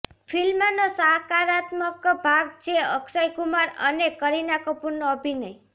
ફિલ્મનો સકારાત્મક ભાગ છે અક્ષય કુમાર અને કરીના કપૂરનો અભિનય